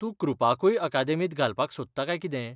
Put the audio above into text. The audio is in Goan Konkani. तूं कृपाकूय अकादेमींत घालपाक सोदता काय कितें?